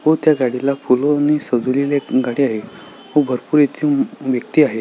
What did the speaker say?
व त्या गाडीला फुलाणी सजवलेली एक गाडी आहे व भरपूर इथे व्यक्ति आहे.